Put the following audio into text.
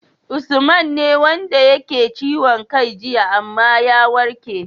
Usman ne wanda yake ciwon kai jiya amma ya warke